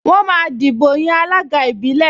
Wọ́n máa dìbò yan alága ìbílẹ̀